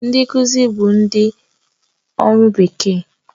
Ndị nkuzi bụ ndị ọrụ bekee